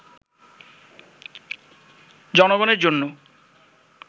জনগণের জন্য